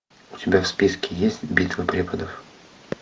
у тебя в списке есть битва преподов